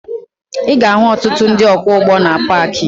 Ị ga-ahụ ọtụtụ ndị ọkwọụgbọ na paakị